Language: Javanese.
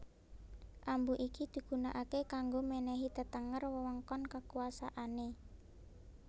Ambu iki digunakake kanggo menehi tetenger wewengkon kekuasaane